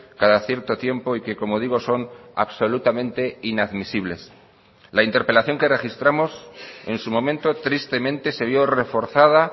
cada cierto tiempo y que como digo son absolutamente inadmisibles la interpelación que registramos en su momento tristemente se vio reforzada